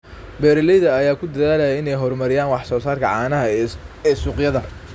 Beeralayda ayaa ku dadaalaya in ay horumariyaan wax soo saarka caanaha ee suuqyada.